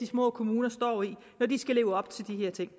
små kommuner står i når de skal leve op til de her ting